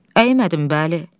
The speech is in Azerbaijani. Əymədim, bəli.